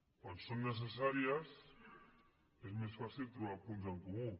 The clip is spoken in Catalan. quan són necessàries és més fàcil trobar punts en comú